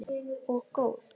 Og góð.